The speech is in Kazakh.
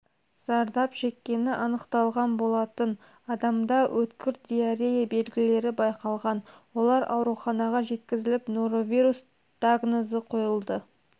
зардап шеккені анықталған болатын адамда өткір диарея белгілері байқалған олар ауруханаға жеткізіліп норовирус дагнозы қойылды